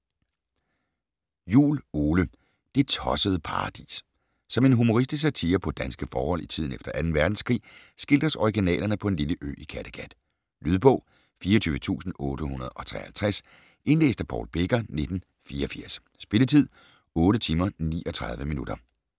Juul, Ole: Det tossede paradis Som en humoristisk satire på danske forhold i tiden efter 2. verdenskrig skildres originalerne på en lille ø i Kattegat. Lydbog 24853 Indlæst af Paul Becker, 1984. Spilletid: 8 timer, 39 minutter.